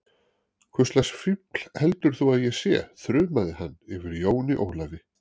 Hvurslags fífl heldur þú að ég sé, þrumaði hann yfir Jóni Ólafi.